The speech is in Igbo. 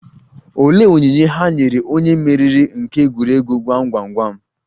Olee onyinye ha nyere onye mmeri nke egwuregwu gwam gwam gwam?